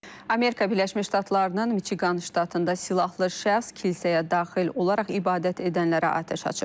Amerika Birləşmiş Ştatlarının Miçiqan ştatında silahlı şəxs kilsəyə daxil olaraq ibadət edənlərə atəş açıb.